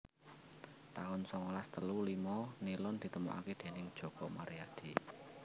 taun songolas telu limo Nilon ditemokaké déning Joko Maryadi